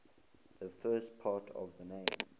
the first part of the name